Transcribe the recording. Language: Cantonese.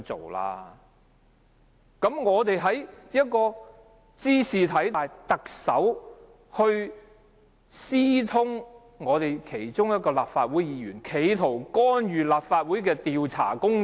這件事茲事體大，特首私通一名立法會議員，企圖干預立法會的調查工作。